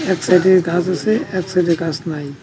এক সাইডে গাস আসে এক সাইডে গাস নাই।